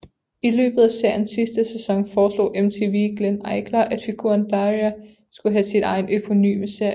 I løbet af seriens sidste sæson foreslog MTV Glenn Eichler at figuren Daria skulle have sin egen eponyme serie